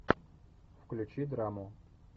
включи драму